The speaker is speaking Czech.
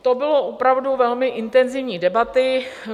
To byla opravdu velmi intenzivní debata.